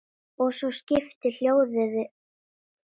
Og svo skiptir hljóðið máli.